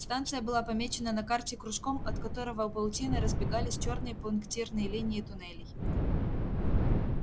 станция была помечена на карте кружком от которого паутиной разбегались чёрные пунктирные линии туннелей